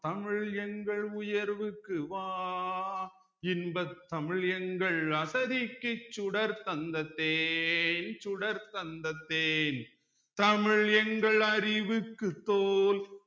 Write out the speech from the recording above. தமிழ் எங்கள் உயர்வுக்கு வான் இன்பத் தமிழ் எங்கள் அசதிக்கு சுடர் தந்த தேன் சுடர் தந்த தேன் தமிழ் எங்கள் அறிவுக்கு தோல்